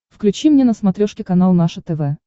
включи мне на смотрешке канал наше тв